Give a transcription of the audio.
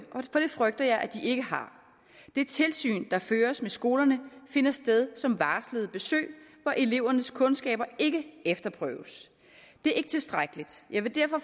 frygter jeg den ikke har det tilsyn der føres med skolerne finder sted som varslede besøg hvor elevernes kundskaber ikke efterprøves det er ikke tilstrækkeligt jeg vil derfor